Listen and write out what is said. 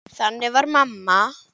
Þannig var mamma.